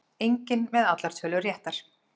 Enginn með allar tölur réttar